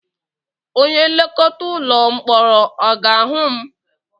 Onye nlekọta ụlọ mkpọrọ ọ ga-ahụ m?